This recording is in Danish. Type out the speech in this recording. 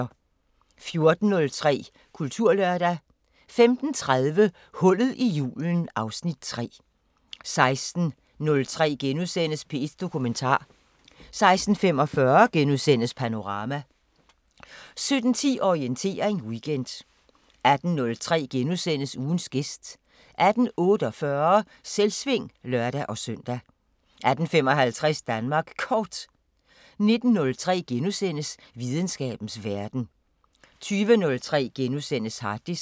14:03: Kulturlørdag 15:30: Hullet i julen (Afs. 3) 16:03: P1 Dokumentar * 16:45: Panorama * 17:10: Orientering Weekend 18:03: Ugens gæst * 18:48: Selvsving (lør-søn) 18:55: Danmark Kort 19:03: Videnskabens Verden * 20:03: Harddisken *